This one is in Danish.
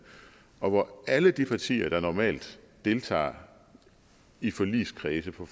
og hvor alle de partier der normalt deltager i forligskredse på